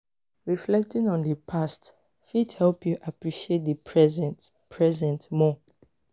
reflecting on di past fit help yu appreciate di present present more.